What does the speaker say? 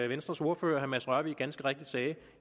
venstres ordfører herre mads rørvig ganske rigtigt sagde